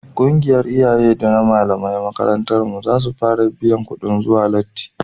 ƙungiyar iyaye da na malaman makarantar mu za su fara biyan kudin zuwa lati